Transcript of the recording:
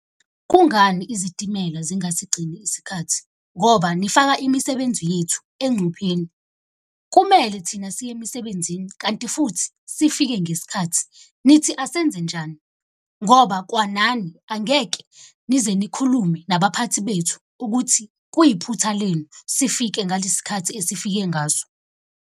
Kungani izitimela zingasigcini isikhathi? Ngoba nifaka imisebenzi yethu engcupheni. Kumele thina siye emisebenzini kanti futhi sifike ngesikhathi. Nithi asenze njani? Ngoba kwanani angeke nize nikhulume nabaphathi bethu ukuthi kuyiphutha lenu sifike ngalesi khathi esifike ngaso.